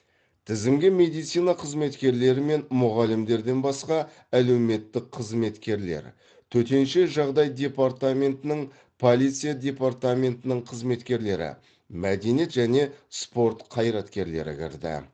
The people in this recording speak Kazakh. тізімге медицина қызметкерлері мен мұғалімдерден басқа әлеуметтік қызметкерлер төтенше жағдай департаментінің полиция департаментінің қызметкерлері мәдениет және спорт қайраткерлері кірді